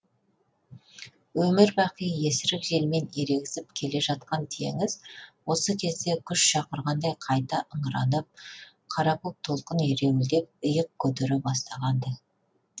өмір бақи есірік желмен ерегісіп келе жатқан теңіз осы кезде күш шақырғандай қайта ыңыранып қара көк толқын ереуілдеп иық көтере бастаған ды